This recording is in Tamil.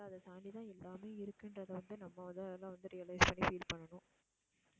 அதை தாண்டி தான் எல்லாமே இருக்குன்றதை வந்து நம்ம முதல்ல வந்து realise பண்ணி feel பண்ணனும்